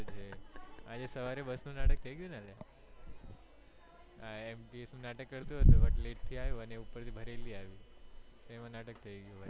આજે સવારે બસ નું નાટક નું થયું ગયું લ્યા આ AMTS નું નાટક કરતો હતો but late થી આયો ઉપ્પર થી ભરેલી આઈ એમાં નાટક થયી ગયું ભાઈ